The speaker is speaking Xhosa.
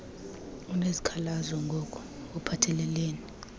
unesikhalazo ngok uphathelelene